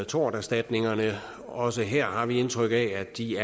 torterstatningerne også her har vi indtryk af at de